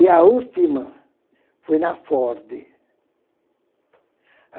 E a última foi na Ford.